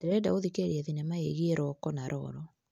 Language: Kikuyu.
Ndĩrenda gũthikĩrĩria thinema yĩgiĩ Roko na Rolo.